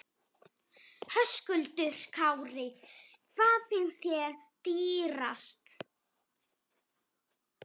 Höskuldur Kári: Hvað finnst þér dýrast?